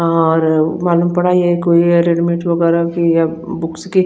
और मालूम पड़ा ये कोई रेडिमेड वगैरा कि या बुक्स की--